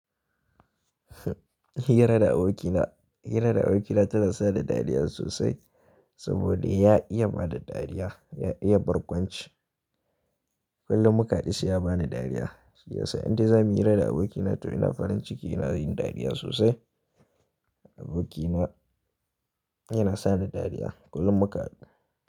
Hira da abokina, hira da abokina tana sa ni dariya sosai saboda ya iya bada dariya, ya iya barkwanci. Kullum muka hadu dashi se ya bani dariya. Shiya sa, indai zamu muyi hira da abokina to ina faranciki ina yin dariya sosai." Abokina yana sa ni dariya kullum muka hadu.